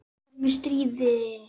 Við erum í stríði.